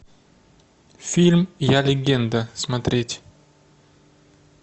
фильм я легенда смотреть